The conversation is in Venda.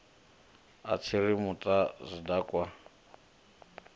a tshiri muta wa tshidakwa